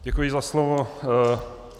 Děkuji za slovo.